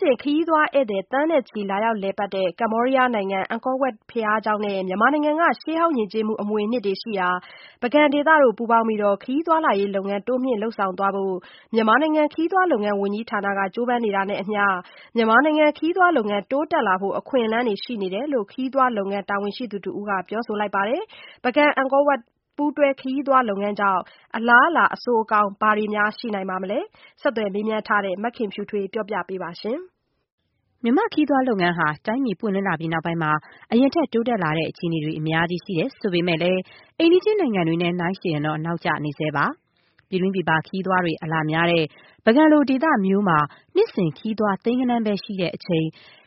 စဉ် ခရီးသွားဧည့်သည် သန်းနဲ့ချီ လာရောက် လည်ပတ်တဲ့ ကမ္ဘောဒီးယားနိုင်ငံ အန်ကောဝပ် ဘုရားကျောင်းနဲ့ မြန်မာနိုင်ငံက ရှေးဟောင်းယဉ်ကျေးမှု အမွေအနှစ်တွေရှိရာ ပုဂံ ဒေသ တို့ ပူးပေါင်းပြီး ခရီးသွားလာရေး လုပ်ငန်းတိုးမြင့် လုပ်ဆောင်သွားဖို့ မြန်မာနိုင်ငံ ခရီးသွားလုပ်ငန်းဝန်ကြီးဌာနက ကြိုးပမ်းနေတာနဲ့အမျှ မြန်မာနိုင်ငံ ခရီးသွားလုပ်ငန်း တိုးတက်လာဖို့ အခွင့်အလမ်းတွေ ရှိနေတယ်လို့ ခရီးသွားလုပ်ငန်း တာဝန်ရှိသူတဦးက ပြောပါတယ်။ ပုဂံ-အန်ကော ပူးတွဲ ခရီးသွားလုပ်ငန်းကြောင့် အလားအလာ အဆိုးအကောင်း ဘာတွေ ရှိနိုင်မလဲ ဆက်သွယ်မေးမြန်းထားတဲ့ မခင်ဖြူထွေးက ပြောပြပေးပါမယ်။ မြန်မာ့ခရီးသွားလုပ်ငန်းဟာ တိုင်းပြည် ပွင့်လင်းလာပြီးနောက်ပိုင်းမှာ အရင်ထက် တိုးတက်လာတဲ့ အခြေအနေတွေ အများကြီး ရှိတယ် ဆိုပေမဲ့လည်း အိမ်နီးချင်း နိုင်ငံတွေနဲ့ယှဉ်ရင်တော့ နောက်ကျနေဆဲပါ။ ပြည်တွင်းပြည်ပ ခရီးသွားတွေ အလာများတဲ့ ပုဂံ လို ဒေသမျိုးမှာ နှစ်စဉ် ခရီးသွား သိန်းဂဏန်းပဲ ရှိတဲ့အချိန်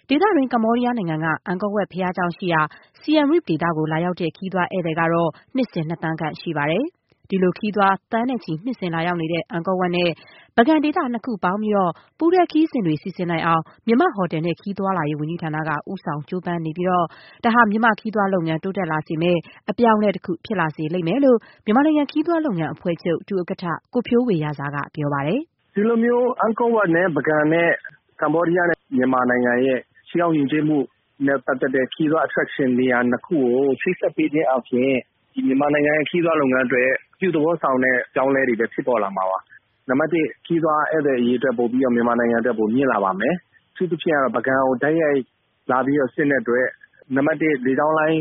ဒေသတွင်း ကမ္ဘောဒီးယားနိုင်ငံက အန်ကောဝပ် ဘုရားကျောင်းရှိရာ Siem Reap ဒေသကို လာရောက်တဲ့ ခရီးသွားဧည့်သည်ကတော့ နှစ်စဉ် နှစ်သန်းခန့် ရှိပါတယ်။ ဒီလို ခရီးသွား သန်းနဲ့ချီ နှစ်စဉ်လာရောက်နေတဲ့ အန်ကောဝပ်နဲ့ ပုဂံဒေသ နှစ်ခုပေါင်းပြီး ပူးတွဲခရီးစဉ်တွေ စီစဉ်နိုင်အောင် မြန်မာ့ ဟိုတယ်နဲ့ခရီးသွားလာရေး ဝန်ကြီးဌာနက ဦးဆောင်ကြိုးပမ်းနေပြီး ဒါဟာ မြန်မာ့ခရီးသွားလုပ်ငန်း တိုးတက်လာစေမယ့် အပြောင်းအလဲတခု ဖြစ်လိမ့်မယ်လို့ မြန်မာနိုင်ငံ ခရီးသွားလုပ်ငန်းအဖွဲ့ချုပ် ဒုဥက္ကဋ္ဌ ကိုဖြိုးဝေရာဇာ က ပြောပါတယ်။ “ဒီလိုမျိုး အန်ကောဝပ် နဲ့ ပုဂံ ၊ ကမ္ဘောဒီယားနဲ့ မြန်မာနိုင်ငံရဲ့ ရှေးဟောင်းယဉ်ကျေးမှုနဲ့ ပတ်သက်တဲ့ ခရီးသွား attraction နေရာ ၂ ခု ကို ချိတ်ဆက်ပေးခြင်းအားဖြင့် ဒီမြန်မာနိုင်ငံ ခရီးသွားလုပ်ငန်းအတွက် အပြုသဘောဆောင်တဲ့ အပြောင်းအလဲတွေလည်း ဖြစ်ပေါ်လာမှာပါ။ နံပတ်၁ ခရီးသွားဧည့်သည်အရေအတွက် မြန်မာနိုင်ငံမှာ ပိုပြီးတော့မြင့်လာပါမယ်။ အထူးသဖြင့်ကတော့ ပုဂံကို တိုက်ရိုက်လာတဲ့အတွက် နံပတ် ၁ လေကြောင်းလိုင်း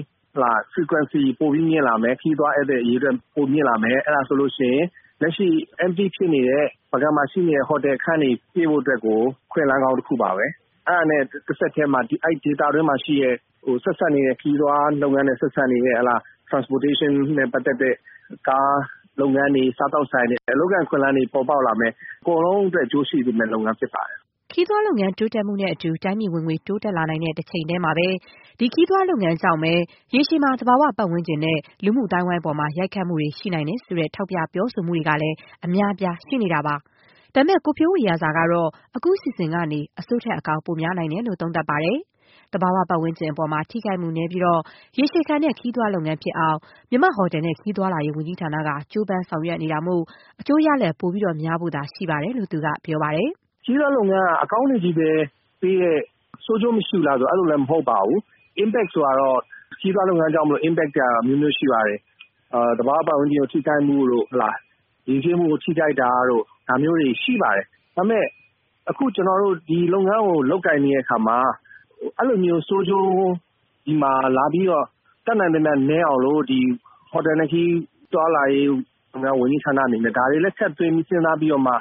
Frequency ပိုပြီးမြင့်လာမယ်။ ခရီးသွားဧည့်သည်အရေအတွက် ပိုပြီးတော့မြင့်လာပါမယ်။အဲဒါဆိုရင် လက်ရှိ Empty ဖြစ်နေတဲ့ ပုဂံမှာရှိတဲ့ ဟိုတယ်ခန်းတွေ ပြည့်ဖို့အတွက်ကို အခွင့်အလမ်းကောင်းတခုပါပဲ။ အဲဒါနဲ့ တဆက်တည်းမှာ အဲဒီဒေသအတွင်းမှာရှိတဲ့ ခရီးသွားလုပ်ငန်းနဲ့ ဆက်စပ်နေတဲ့ Transportation နဲ့ ပက်သတ်တဲ့ ကားလုပ်ငန်းတွေ ၊ စားသောက်ဆိုင်တွေ အလုပ်အကိုင်အခွင့်အလမ်းတွေ ပေါ်ပေါက်လာမယ်။ အကုန်လုံးအတွက် အကျိုးရှိစေမယ့် လုပ်ငန်းဖြစ်ပါတယ်။” ခရီးသွားလုပ်ငန်း တိုးတက်မှုနဲ့အတူ တိုင်းပြည်ဝင်ငွေ တိုးတက်လာနိုင်တဲ့ တချိန်တည်းမှာပဲ ခရီးသွားလုပ်ငန်းကြောင့်ပဲ ရေရှည်မှာ သဘာဝပတ်ဝန်းကျင်နဲ့ လူမှုအသိုင်းအဝိုင်း အပေါ် ရိုက်ခတ်မှုတွေ ရှိနိုင်တယ်ဆိုတဲ့ ထောက်ပြ ပြောဆိုတာတွေကလည်း အများအပြား ရှိနေတာပါ။ ဒါပေမဲ့ ကိုဖြိုးဝေရာဇာ ကတော့ အခုအစီအစဉ်ကနေ အဆိုးထက် အကောင်း ပိုများနိုင်တယ်လို့ သုံးသပ်ပါတယ်။ သဘာဝပတ်ဝန်းကျင် အပေါ် ထိခိုက်မှု နည်းပြီး ရေရှည်ခံတဲ့ခရီးသွား လုပ်ငန်းဖြစ်အောင် မြန်မာ့ ဟိုတယ်နဲ့ခရီးသွားလာရေး ဝန်ကြီးဌာနက ကြိုးပမ်းဆောင်ရွက် နေတာမို့ အကျိုးရလဒ် ပိုများဖို့သာ ရှိပါတယ်လို့ သူက ပြောပါတယ်။ “ခရီးသွားလုပ်ငန်းက အကောင်းတွေပဲပေးတယ်၊ ဆိုးကျိုးမရှိဘူးလားဆိုတာ အဲလိုလည်းမဟုတ်ပါဘူး။ Impact ဆိုတာကတော့ ခရီးသွားလုပ်ငန်းကြောင့်မို့လို့ Impact ဆိုတာကတော့အမျိုးမျိုးရှိပါတယ်။ သဘာဝပတ်ဝန်းကျင်ထိခိုက်မှုတို့ ၊ ယဉ်ကျေးမှုကို ထိခိုက်တာတို့ ဒါမျိုးတွေရှိပါတယ်။ ဒါပေမယ့် အခုကျနော်တို့ ဒီလုပ်ငန်းကို လုပ်ကိုင်နေတဲ့အခါမှာ အဲဒီလိုမျိုး ဆိုးကျိုးဒီမှာလာပြီးတော့ တတ်နိုင်သမျှနည်းအောင်လို့ ဟိုတယ်နဲ့ခရီးသွားလာရေး ဝန်ကြီးဌာနအနေနဲ့ ဒါတွေလည်း ထည့်သွင်းစဉ်းစားပြီးတော့မှ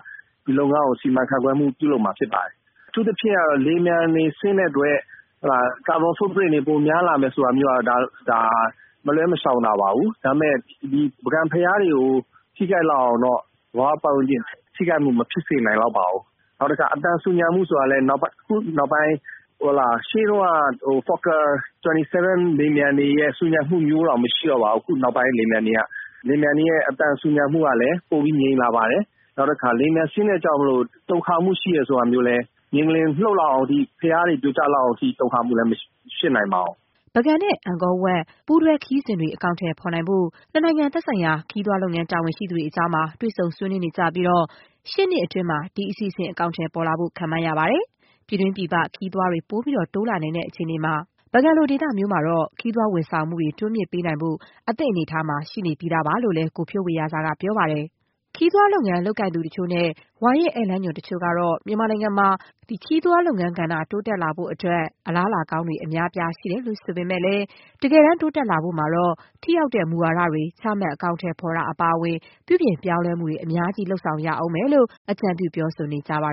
ဒီလုပ်ငန်းကို စီမံခန့်ခွဲမှုပြုလုပ်မှာဖြစ်ပါတယ်။ အထူးသဖြင့်ကတော့ လေယာဉ်ပျံတွေဆင်းတဲ့အတွက် ကာဗွန် စွန့်ပြစ်မှုတွေပိုများလာမယ်ဆိုတာကတော့ မလွဲမရှောင်သာ ပါပဲ။ ဒါပေမယ့် ပုဂံဘုရားတွေကို ထိခိုက်လောက်အောင်တော့ သဘာဝပတ်ဝန်းကျင် ထိခိုက်မှုမဖြစ်စေနိုင်လောက်ပါဘူး။ နောက်တခါ အသံဆူညံမှုဆိုတာကလည်း အခုနောက်ပိုင်း မှာ ရှေးတုန်းက လေယာဉ်ပျံတွေလိုမျိုးဆူညံမှုတွေ မရှိတော့ပါဘူး နောက်ပိုင်းလေယာဉ်ပျံတွေက ။ လေယာဉ်ပျံတွေရဲ့ အသံဆူညံမှုကလည်း ပိုပြီး ငြိမ်လာပါတယ်။ နောက်တခါ လေယာဉ်ပျံဆင်းတဲ့အတွက်ကြောင့်မို့လို တုန်ခါမှုရှိတယ်ဆိုပေမယ့်လည်း မြေငလျင်လှုပ်လောက်အောင်အထိ ၊ ဘုရားတွေ ပြိုကျလောက်အောက်အထိ တုန်ခါမှုလည်း မဖြစ်နိုင်ပါဘူး။” ပုဂံနဲ့ အန်ကောဝပ် ပူးတွဲခရီးစဉ်တွေ အကောင်အထည် ဖော်ဖို့အတွက် နှစ်နိုင်ငံ သက်ဆိုင်ရာ ခရီးသွားလုပ်ငန်း တာဝန်ရှိ သူတွေကြား တွေ့ဆုံ ဆွေးနွေးနေကြပြီး ရှေ့နှစ်အတွင်း ဒီအစီအစဉ် အကောင်အထည် ပေါ်လာဖို့ ခန့်မှန်းရပါတယ်။ ပြည်တွင်း ပြည်ပ ခရီးသွားတွေ ပိုပြီး တိုးလာနိုင်တဲ့ အခြေအနေမှာ ပုဂံ လို ဒေသမျိုးမှာတော့ ခရီးသွားဝန်ဆောင်မှုတွေ တိုးမြင့်ပေးနိုင်ဖို့ အသင့်အနေအထားမှာ ရှိနေပြီးသား ဖြစ်တယ်လို့လည်း ကိုဖြိုးဝေရာဇာက ပြောပါတယ်။ ခရီးသွားလုပ်ငန်း လုပ်ကိုင်သူတချို့နဲ့ ဝါရင့်ဧည့်သည်လမ်းညွှန် တချို့ကတော့ - မြန်မာနိုင်ငံမှာ ခရီးသွားလုပ်ငန်းကဏ္ဍ တိုးတက်လာဖို့ အတွက် အလားအလာကောင်းတွေ အများအပြား ရှိတယ်ဆိုပေမဲ့လည်း၊ တကယ်တမ်း တိုးတက်လာဖို့မှာတော့ ထိရောက်တဲ့ မူဝါဒတွေ ချမှတ် အကောင်အထည်ဖော်တာ အပါအဝင် ပြုပြင်ပြောင်းလဲမှုတွေ အများကြီး လုပ်ဆောင်ရလိမ့်မယ်လို့ အကြံပြု ပြောဆိုနေကြပါ